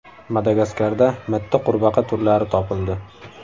Madagaskarda mitti qurbaqa turlari topildi.